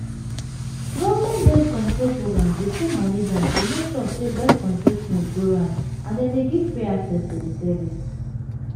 government birth-control programs dey put money down to make sure say birth-control things go round and dem dey give free access to the service